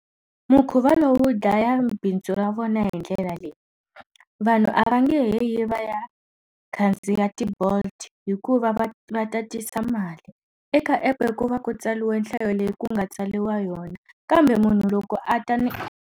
Mukhuva lowu wu dlaya bindzu ra vona hi ndlela leyi. Vanhu a va nge he yi va ya khandziya ti-Bolt hikuva va va ta tisa mali. Eka app-e ku va ku tsariwe nhlayo leyi ku nga tsariwa yona kambe munhu loko a ta ni.